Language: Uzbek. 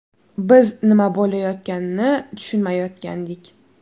Biz nima bo‘layotganini tushunmayotgandik.